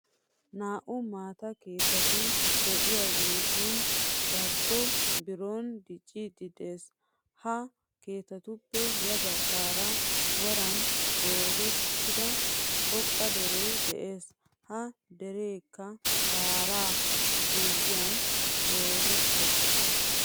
Naa'u maataa keettatti de'iyagettundarkkon biron diccidi de'ees. Ha keettattuppe ya baggaara woran goozettida xoqqa dere de'ees. Ha derekka shaaraa guliyan goozettiis.